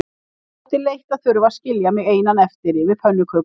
Þótti leitt að þurfa að skilja mig einan eftir yfir pönnukökunni.